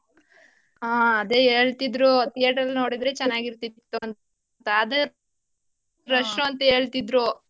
ಹಾ ಅದೇ ಹೇಳ್ತಿದ್ರು theatre ನೋಡಿದ್ರೆ ಚೆನ್ನಾಗಿರ್ತಿತ್ತು ಅಂತ ಆದ್ರೆ rush ಅಂತ ಹೇಳ್ತಿದ್ರು.